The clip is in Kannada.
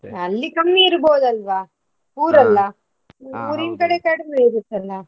ಅಲ್ಲಿ ಕಮ್ಮಿ ಇರ್ಬಹುದಲ್ವಾ? ಕಡೆ ಕಡಿಮೆ ಇರುತ್ತಲ್ಲಾ?